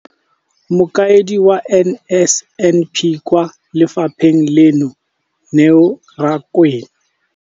Mokaedi wa NSNP kwa lefapheng leno, Neo Rakwena.